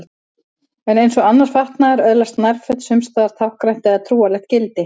En eins og annar fatnaður öðlast nærföt sums staðar táknrænt eða trúarlegt gildi.